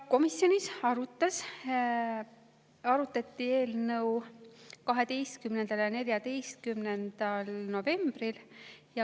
Komisjonis arutati eelnõu 12. ja 14. novembril.